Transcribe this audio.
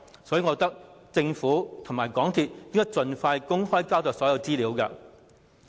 所以，我認為政府和港鐵公司應該盡快公開所有資料。